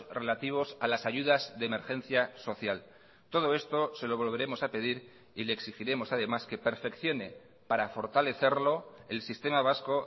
relativos a las ayudas de emergencia social todo esto se lo volveremos a pedir y le exigiremos además que perfeccione para fortalecerlo el sistema vasco